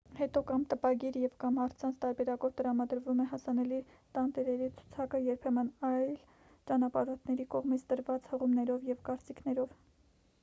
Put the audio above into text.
հետո կամ տպագիր և/կամ առցանց տարբերակով տրամադրվում է հասանելի տանտերերի ցուցակը՝ երբեմն այլ ճանապարհորդների կողմից տրված հղումներով և կարծիքներով։